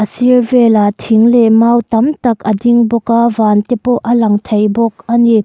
a sir velah thing leh mau tam tak a ding bawk a van te pawh a lang thei bawk ani.